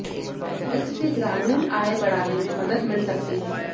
इससे ग्रामीण आय बढ़ाने में मदद मिल सकती है